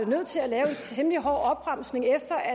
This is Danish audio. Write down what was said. nødt til at lave en temmelig hård opbremsning efter at